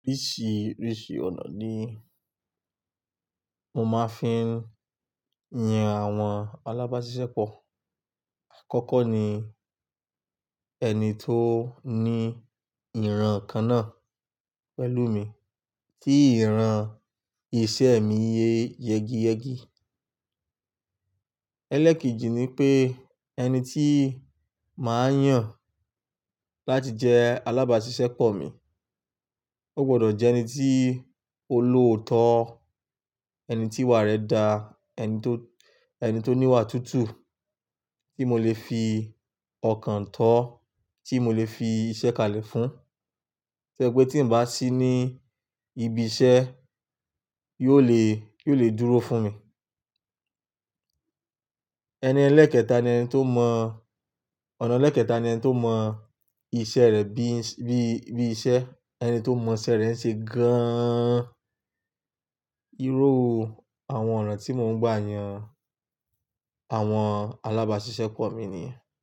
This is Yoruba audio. Oríṣiríṣi ọ̀nà ni mo máa ń fi yan àwọn alábáṣiṣẹ́ pọ̀. Àkọ́kọ́ ni ẹni tó ní ìran kan náà pẹ̀lú mi tí ìran iṣẹ́ mi yé yegi yegi. Ẹlẹ́kejì ni pé ẹni tí màá yàn láti jẹ alábáṣiṣẹ́ pọ̀ mi, ó gbọdọ̀ jẹ́ ẹni tí ó loòótọ́, ẹni tí ìwà rẹ̀ da, ẹni tó, ẹni tó ní ìwà tútù tí mo lè fi ọkàn tọ́, tí mo lè fi iṣẹ́ kalẹ̀ fún. Tí ó jẹ́ pé tí n bá sí ní ibi iṣẹ́ yóò le, yóò le dúró fún mi. Ẹni ẹlẹ́ẹ̀kẹta ni ẹni tó mọ̀, ọ̀nà ẹlẹ́ẹ̀kẹta ni ẹni tó mọ̀ iṣẹ́ rẹ̀ bí i, bí i iṣẹ́, ẹni tó mọ̀ iṣẹ́ rẹ̀ ṣe gan-an. Irú àwọn ọ̀nà tí mò ń gbà yàn àwọn alábáṣiṣẹ́ pọ̀ mi ni.